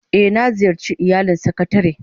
Eh, na ziyarce iyalin sakatare